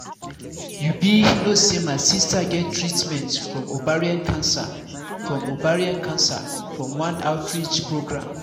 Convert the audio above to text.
you be no say my sister get treatment from ovarian from ovarian cancer from one outreach program